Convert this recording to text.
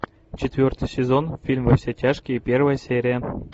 четвертый сезон фильм во все тяжкие первая серия